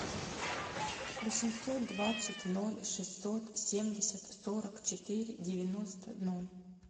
восемьсот двадцать ноль шестьсот семьдесят сорок четыре девяносто ноль